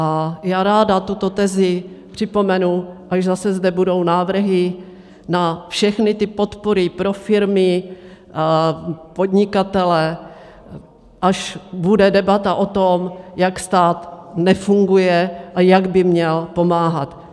A já ráda tuto tezi připomenu, až zase zde budou návrhy na všechny ty podpory pro firmy, podnikatele, až bude debata o tom, jak stát nefunguje a jak by měl pomáhat.